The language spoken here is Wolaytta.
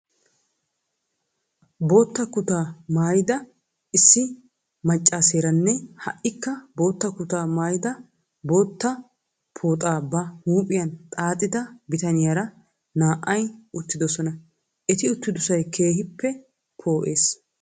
Boota kutaa maayida issi maccaaseeranne ha"ikka bootta kutaa maayidi bootta pooxaa ba huuphiyan xaaxida bitaniyara naa"ay uttidosina. Eti uttidosay keehippe poo'ees.